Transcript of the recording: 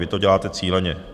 Vy to děláte cíleně.